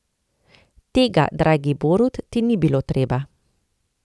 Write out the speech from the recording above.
Tega, dragi Borut, ti ni bilo treba.